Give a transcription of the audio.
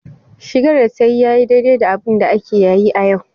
Shigar da ta yi ya yi daidai da abinda ake yayi a yau.